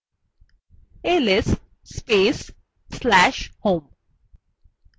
ls space/slash home